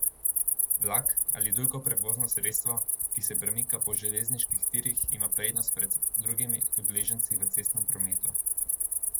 Vlak ali drugo prevozno sredstvo, ki se premika po železniških tirih, ima prednost pred drugimi udeleženci v cestnem prometu.